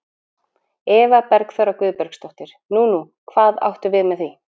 Eva Bergþóra Guðbergsdóttir: Nú, nú, hvað áttu við með því?